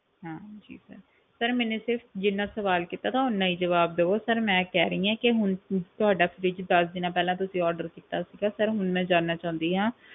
ਹਾਂਜੀ sir sir ਮੈਨੇ ਸਿਰਫ਼ ਜਿੰਨਾ ਸਵਾਲ ਕੀਤਾ ਸੀ ਓਨਾ ਹੀ ਜਵਾਬ ਦੇਵੋ sir ਮੈਂ ਕਹਿ ਰਹੀ ਹਾਂ ਕਿ ਹੁਣ ਤੁਹਾਡਾ fridge ਦਸ ਦਿਨਾਂ ਪਹਿਲਾਂ ਤੁਸੀਂ order ਕੀਤਾ ਸੀਗਾ sir ਹੁਣ ਮੈਂ ਜਾਣਨਾ ਚਾਹੁੰਦੀ ਹਾਂ,